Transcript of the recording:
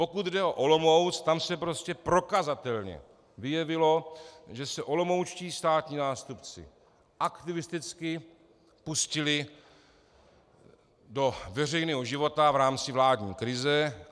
Pokud jde o Olomouc, tam se prostě prokazatelně vyjevilo, že se olomoučtí státní zástupci aktivisticky pustili do veřejného života v rámci vládní krize.